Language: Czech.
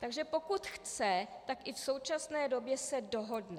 Takže pokud chce, tak i v současné době se dohodne.